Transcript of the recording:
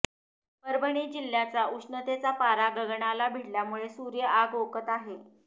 परभणी जिल्ह्याचा उष्णतेचा पारा गगनाला भिडल्यामुळे सूर्य आग ओकत आहे